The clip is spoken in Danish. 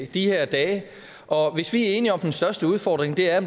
de her dage og hvis vi er enige om at den største udfordring er